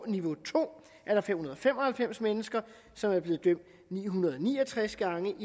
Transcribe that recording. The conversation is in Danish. niveau to er der fem hundrede og fem og halvfems mennesker som er blevet dømt ni hundrede og ni og tres gange